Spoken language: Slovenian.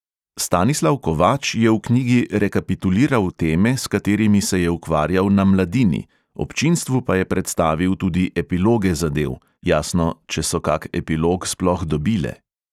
Stanislav kovač je v knjigi rekapituliral teme, s katerimi se je ukvarjal na mladini, občinstvu pa je predstavil tudi epiloge zadev (jasno, če so kak epilog sploh dobile).